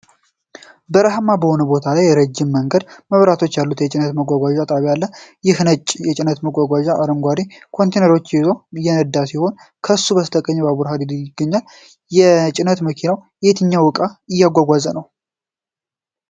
በረሃማ በሆነ ቦታ ላይ ረጅም የመንገድ መብራቶች ያሉት የጭነት ማጓጓዣ ጣቢያ ነው። አንድ ነጭ የጭነት መኪና አረንጓዴ ኮንቴይነሮችን ይዞ እየነዳ ሲሆን፣ ከሱ በስተቀኝ የባቡር ሀዲድ ይገኛል። የጭነት መኪናው የትኛውን ዕቃ እያጓጓዘ ነው?